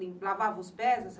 Lavava os pés?